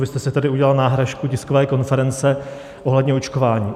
Vy jste si tady udělal náhražku tiskové konference ohledně očkování.